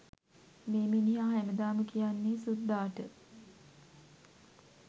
මේ මිනිහා හැමදාම කියන්නේ සුද්දාට